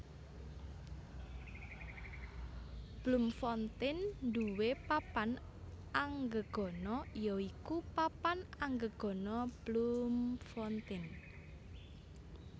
Bloemfontein nduwé papan anggegana ya iku Papan Anggegana Bloemfontein